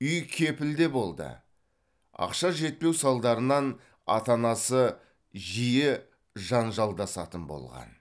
үй кепілде болды ақша жетпеу салдарынан ата анасы жиі жанжалдасатын болған